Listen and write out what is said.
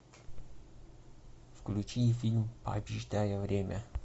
включи фильм побеждая время